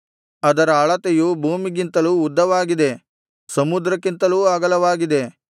ಅದರ ಅಳತೆಯು ಭೂಮಿಗಿಂತಲೂ ಉದ್ದವಾಗಿದೆ ಸಮುದ್ರಕ್ಕಿಂತಲೂ ಅಗಲವಾಗಿದೆ